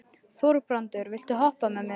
Þorbrandur, viltu hoppa með mér?